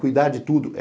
Cuidar de tudo.